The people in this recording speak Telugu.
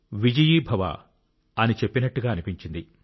విజయీభవ అని చెప్పినట్టుగా అనిపించింది